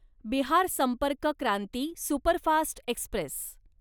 Bihar Sampark Kranti superfast Express